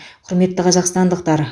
құрметті қазақстандықтар